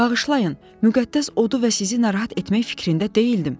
Bağışlayın, müqəddəs odu və sizi narahat etmək fikrində deyildim.